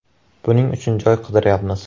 Buning uchun joy qidirayapmiz.